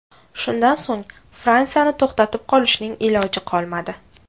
Shundan so‘ng Fransiyani to‘xtatib qolishning iloji qolmadi.